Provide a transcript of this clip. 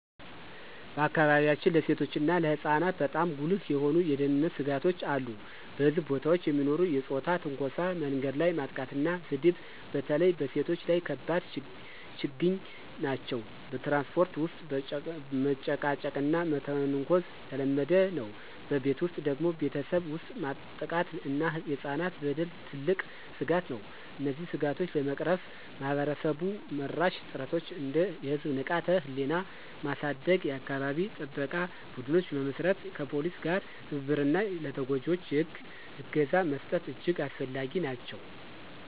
በአካባቢያችን ለሴቶችና ለህፃናት በጣም ጉልህ የሆኑ የደህንነት ስጋቶች አሉ። በሕዝብ ቦታዎች የሚኖሩ የፆታ ትንኮሳ፣ መንገድ ላይ ማጥቃትና ስድብ በተለይ በሴቶች ላይ ከባድ ችግኝ ናቸው። በትራንስፖርት ውስጥ መጨቃጨቅና መተንኮስ የተለመደ ነው። በቤት ውስጥ ደግሞ ቤተሰብ ውስጥ ጥቃት እና የህፃናት በደል ትልቅ ስጋት ነው። እነዚህን ስጋቶች ለመቅረፍ ማህበረሰብ-መራሽ ጥረቶች እንደ የህዝብ ንቃተ-ህሊና ማሳደግ፣ የአካባቢ ጥበቃ ቡድኖች መመስረት፣ ከፖሊስ ጋር ትብብር እና ለተጎጂዎች የህግ እገዛ መስጠት እጅግ አስፈላጊ ናቸው።